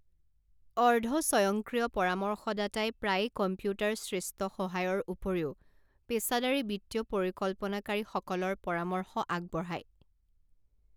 অৰ্ধ স্বয়ংক্ৰিয় পৰামৰ্শদাতাই প্ৰায়ে কম্পিউটাৰ সৃষ্ট সহায়ৰ উপৰিও পেছাদাৰী বিত্তীয় পৰিকল্পনাকাৰীসকলৰ পৰামৰ্শ আগবঢ়ায়।